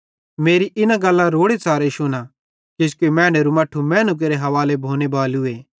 मेरी इन गल्लां रोड़ेच़ारे शुना किजोकि मैनेरू मट्ठू मैनू केरे हवाले भोने बालूए